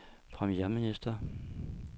premierminister